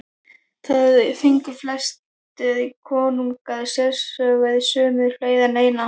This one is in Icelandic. Þar fengu flestir konungar sérsögur, sumir fleiri en eina.